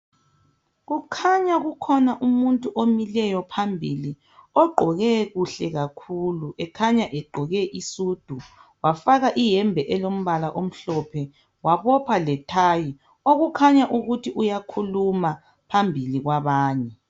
Kukhanya kukhona umuntu omileyo phambili kukhanya ugqoke kuhle kakhulu, ekhanya egqoke isudu wafaka iyembe elombala omhlophe wabopha ithayi okukhanya ukuthi uyakhuluma phambili kwabanye.